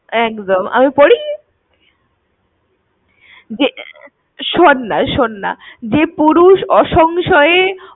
একদম। আমি পড়ি? এটা কোথা দিয়ে কি পড়ছিস? শোন না ~ শোন না। যে পুরুষ অসংশয়ে